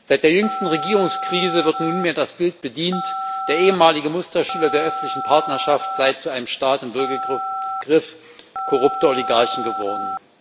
Seit der jüngsten Regierungskrise wird nunmehr das Bild bedient, der ehemalige Musterschüler der Östlichen Partnerschaft sei zu einem Staat im Würgegriff korrupter Oligarchen geworden.